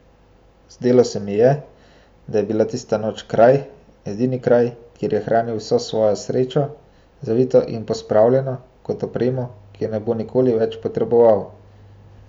Zdelo se mu je, da je bila tista noč kraj, edini kraj, kjer je hranil vso svojo srečo, zavito in pospravljeno, kot opremo, ki je ne bo nikoli več potreboval.